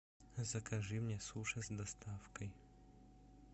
закажи мне суши с доставкой